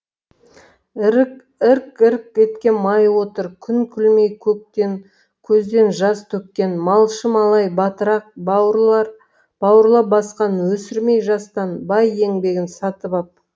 ірк ірк еткен май отыр күн күлмей көктен көзден жас төккен малшы малай батырақ бауырлап басқан өсірмей жастан бай еңбегін сатып ап